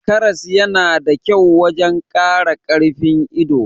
Karas yana da kyau wajan Kara karfin ido